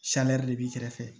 de b'i kɛrɛfɛ